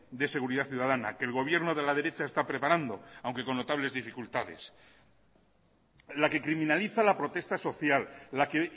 de seguridad ciudadana que el gobierno de la derecha está preparando aunque con notables dificultades en la que criminaliza la protesta social la que